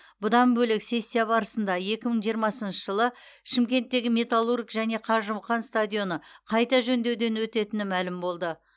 бұдан бөлек сессия барысында екі мың жиырмасыншы жылы шымкенттегі металлург және қажымұқан стадионы қайта жөндеуден өтетіні мәлім болды